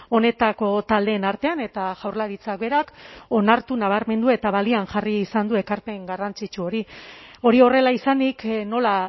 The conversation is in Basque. honetako taldeen artean eta jaurlaritzak berak onartu nabarmendu eta balioan jarri izan du ekarpen garrantzitsu hori hori horrela izanik nola